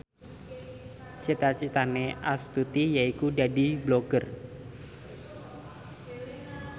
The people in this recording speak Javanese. cita citane Astuti yaiku dadi Blogger